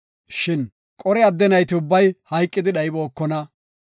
Shin Qore adde nayti ubbay hayqidi dhaybookona.